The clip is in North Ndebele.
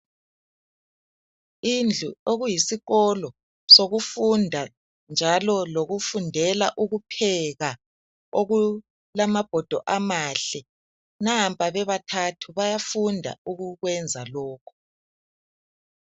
Indlu okuyisikolo sokufunda njalo lokufundela ukupheka okulamabhodo amahle nampa bebathathu bayafunda ukukwenza lokhu.